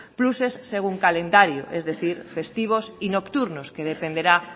pluses según calendario es decir festivos y nocturnos que dependerá